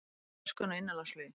Röskun á innanlandsflugi